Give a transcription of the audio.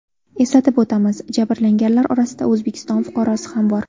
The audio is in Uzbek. Eslatib o‘tamiz, jabrlanganlar orasida O‘zbekiston fuqarosi ham bor .